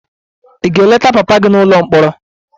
Ị ga-eleta papa gị n'ụlọ mkpọrọ?